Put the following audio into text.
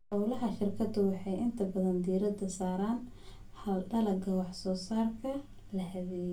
Hawlaha shirkadu waxay inta badan diiradda saaraan hal dalagga wax-soo-saarka la habeeyey.